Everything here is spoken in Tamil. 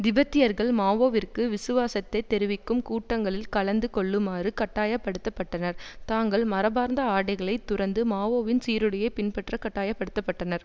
திபெத்தியர்கள் மாவோவிற்கு விசுவாசத்தை தெரிவிக்கும் கூட்டங்களில் கலந்து கொள்ளுமாறு கட்டாய படுத்த பட்டனர் தங்கள் மரபார்ந்த ஆடைகளை துறந்து மாவோவின் சீருடையை பின்பற்றக் கட்டாய படுத்த பட்டனர்